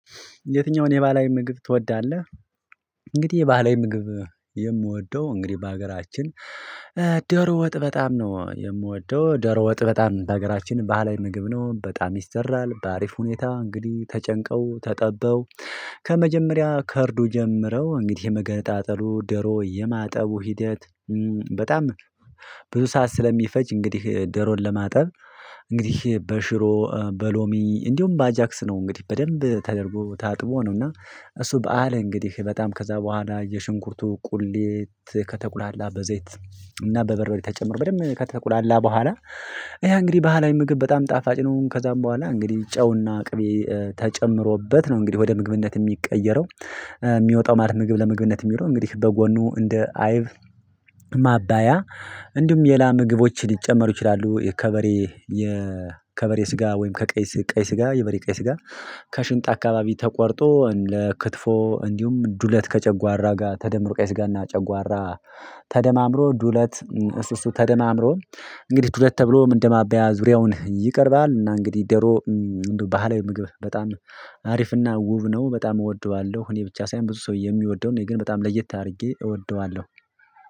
የትኛውን የባህላዊ ምግብ ትወዳለህ? እንግዲህ የባህላዊ ምግብ የምወደው እንግዲህ በሀገራችን። ደሮ ወጥ በጣም ነው የምወደው ደሮ ወጥ በጣም በሀገራችን በሃላዊ ምግብ ነው በጣም ይሰራል በአሪፍ ሁኔታ እንግዲህ ተጨንቀው ተጠበው። ከመጀመሪያ ከእርዱ ጀምረው እንግዲህ የመገንጣጠሉ ደሮ የማጠቡ ሂደት። በጣም ብዙ ሰዓት ስለሚፈጅ እንግዲህ ደሮን ለማጠብ። እንግዲህ በሽሮ በሎሚ እንዲሁም በአጃክስ ነው እንግዲህ በደንብ ተደርጎ ታጥቦ ነው። እና እሱ በዓል እንግዲህ በጣም ከዛ በኋላ የሽንኩርቱ ቁሌት ከተቁላላ በዘይት እና በበርበሪ ተጨምሮ በደንብ ከተቁላላ በኋላ ያ እንግዲህ በሃላዊ ምግብ በጣም ጣፋጭ ነው። ከዛም በኋላ እንግዲህ ጨውና ቅቤ ተጨምሮበት ነው እንግዲህ ወደ ምግብነት የሚቀየረው። የሚወጣው ማለት ምግብ ለምግብነት የሚለው እንግዲህ በጎኑ እንደ አይብ ማባያ እንዲሁም ሌላ ምግቦች ሊጨመሩ ይችላሉ። የከበሬ የከበሬ ስጋ ወይም ከቀይ ቀይ ስጋ የበሬ ቀይ ስጋ። ከሽንጥ አካባቢ ተቆርጦ ለክትፎ እንዲሁም ዱለት ከጨጓራ ጋር ተደምሮ ቀይ ስጋና ጨጓራ። ተደማምሮ ዱለት እሱ እሱ ተደማምሮ እንግዲህ ዱለት ተብሎ ምን እንደማባያ ዙሪያውን ይቀርባል። እና እንግዲህ ደሮ ባህላዊ ምግብ በጣም አሪፍና ውብ ነው በጣም እወደዋለሁ። እኔ ብቻ ሳይሆን ብዙ ሰው የሚወደውን እኔ ግን በጣም ለየት አድርጌ እወደዋለሁ።